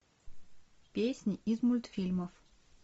песни из мультфильмов